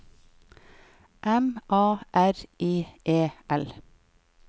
M A R I E L